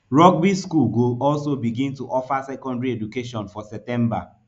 rugby school go also begin to offer secondary education for september